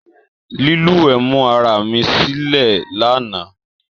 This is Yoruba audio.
Lílùwé mú ara mi silé lánàá